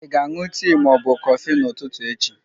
Ị ga-aṅụ tii ma ọ bụ kọfị n'ụtụtụ echi?